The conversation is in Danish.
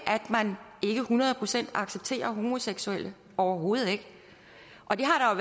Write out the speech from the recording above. hundrede procent accepterer homoseksuelle overhovedet ikke det har